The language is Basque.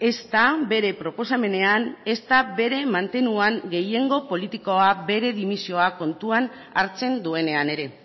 ezta bere proposamenean ezta bere mantenuan gehiengo politikoa bere dimisioa kontuan hartzen duenean ere